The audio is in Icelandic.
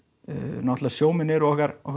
náttúrulega sjómenn eru okkar okkar